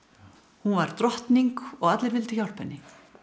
hún var drottning og allir vildu hjálpa henni